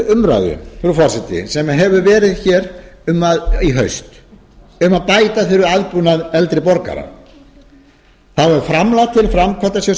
umræðu frú forseti sem hefur verið hér í haust um að bæta þurfi aðbúnað eldri borgara þá er framlag til framkvæmdasjóðs